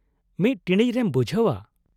ᱢᱤᱫ ᱴᱤᱬᱤᱡ ᱨᱮᱢ ᱵᱩᱡᱷᱟᱹᱣ-ᱟ ᱾